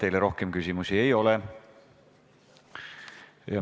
Teile rohkem küsimusi ei ole.